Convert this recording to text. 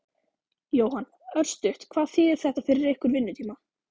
Jóhann: Örstutt, hvað þýðir þetta fyrir ykkar vinnutíma?